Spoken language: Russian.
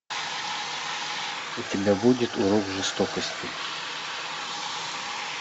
у тебя будет урок жестокости